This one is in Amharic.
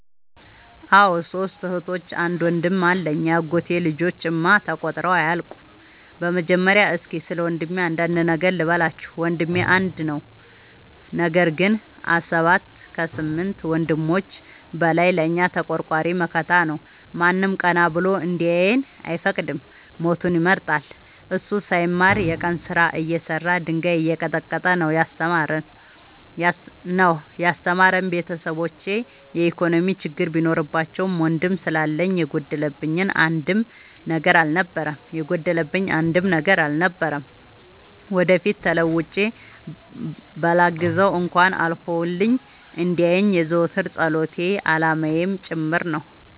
አዎ ሶስት እህቶች አንድ ወንድም አለኝ የአጎቴ ልጆች እማ ተቆጥረው አያልቁም። በመጀመሪያ እስኪ ስለወንድሜ አንዳንድ ነገር ልበላችሁ። ወንድሜ አንድ ነው ነገር ግን አሰባት ከስምንት ወንድሞች በላይ ለእኛ ተቆርቋሪ መከታ ነው። ማንም ቀና ብሎ እንዲያየን አይፈቅድም ሞቱን ይመርጣል። እሱ ሳይማር የቀን ስራ እየሰራ ድንጋይ እየቀጠቀጠ ነው። ያስተማረን ቤተሰቦቼ የኢኮኖሚ ችግር ቢኖርባቸውም ወንድም ስላለኝ የጎደለብኝ አንድም ነገር አልነበረም። ወደፊት ተለውጬ በላግዘው እንኳን አልፎልኝ እንዲየኝ የዘወትር ፀሎቴ አላማዬም ጭምር ነው።